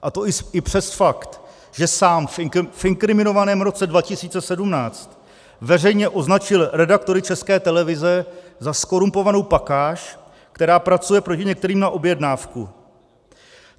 A to i přes fakt, že sám v inkriminovaném roce 2017 veřejně označil redaktory České televize za zkorumpovanou pakáž, která pracuje proti některým na objednávku.